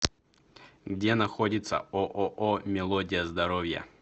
где находится ооо мелодия здоровья